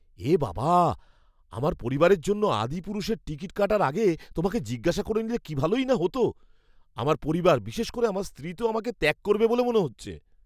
এ বাবা! আমার পরিবারের জন্য "আদিপুরুষ"এর টিকিট কাটার আগে তোমাকে জিজ্ঞেস করে নিলে কি ভালোই না হতো। আমার পরিবার, বিশেষ করে আমার স্ত্রী তো আমাকে ত্যাগ করবে বলে মনে হচ্ছে।